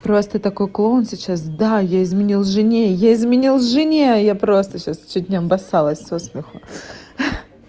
просто такой клоун сейчас да я изменил жене я изменил жене я просто сейчас чуть не описалась со смеху